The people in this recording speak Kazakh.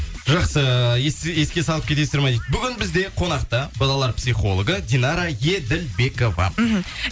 жақсы еске салып кетесіздер ма дейді бүгін бізде қонақта балалар психологы динара еділбекова мхм